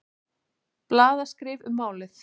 Blaðaskrif um málið.